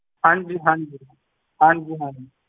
ਹਾਂਜੀ ਹਾਂਜੀ, ਹਾਂਜੀ ਹਾਂਜੀ।